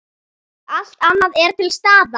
Allt annað er til staðar.